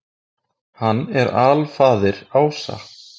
Hann er alfaðir ása.